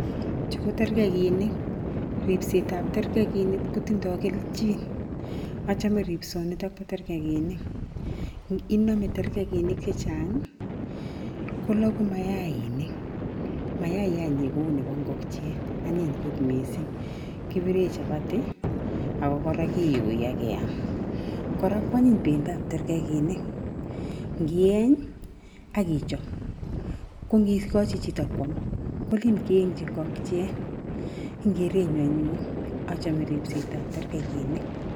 Chu ko tergekinik .Ripset tab terkegiinik ko tindoi kelchin. Achame ripsonit tab tergekiniki, inome tergekinik chechang kologu mayainik, mayayanyi kou nebo ngokie anyiny kot mising kibire chabati, ako kora kiyoi ake keam. Kora anyiny bendob tergekinik ngieny ak ichop ko ngikochi chito kwam ko len keengchi ngokiet eng kerenyu anyon achamme ribsetab tergekinik.